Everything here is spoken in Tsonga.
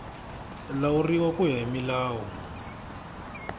lawuriwa ku ya hi milawu